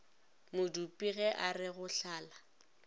modupi ge are go hlala